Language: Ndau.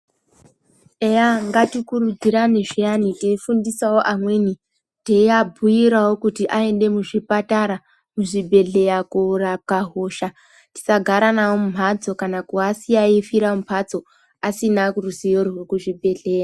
Eya ngatikuridzirane zviyani teifundisawo amweni teiabhuyirawo kut aende kuzvipatara kubhehlera korwapwa hosha tisagara nayo mumhatso kana kuasiyawo eifira mumhatso asina ruziwo rwekuzvibhehlera.